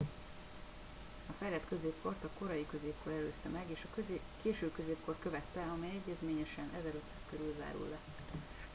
a fejlett középkort a korai középkor előzte meg és a késő középkor követte amely egyezményesen 1500 körül zárul le